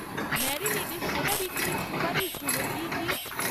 ম্যারিনেডে সেরা বিক্রির সুপারিশগুলো কী কী?